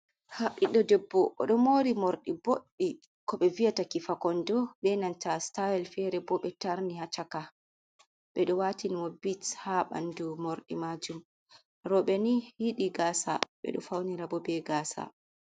Ɓiɗɗo debbo oɗo mori morɗi boɗɗi ko ɓe viyataki fakondo, be nanta stayl fere bo ɓe tarni ha chaka, ɓeɗo watinimo bits ha ɓandu morɗi majum. Roɓe ni yidi gasa ɓeɗo faunira ɓo be gasa.